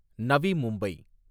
Navi Mumbai